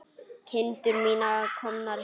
Kindur mínar komnar heim.